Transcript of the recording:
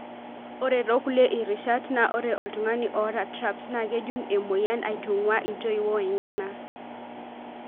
Ore tokulie rishat na ore oltungani oata TRAPS na kejung emoyian aitungua intoiwuo enyana.